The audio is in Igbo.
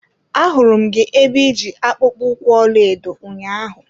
Ahụrụ m gị ebe iji akpụkpọ ụkwụ ọlaedo ụnyaahụ.